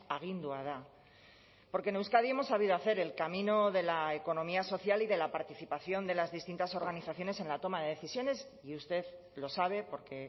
agindua da porque en euskadi hemos sabido hacer el camino de la economía social y de la participación de las distintas organizaciones en la toma de decisiones y usted lo sabe porque